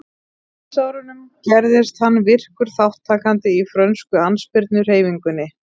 Á stríðsárunum gerðist hann virkur þátttakandi í frönsku andspyrnuhreyfingunni.